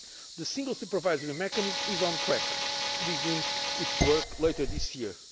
The Single Supervisory Mechanism is on track to begin its work later this year.